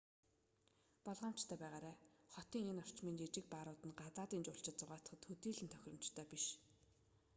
болгоомжтой байгаарай хотын энэ орчмын жижиг баарууд нь гадаадын жуулчид зугаацахад төдийлөн тохиромжтой биш